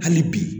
Hali bi